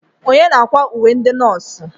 Onye na-akwa uwe ndị nọọsụ?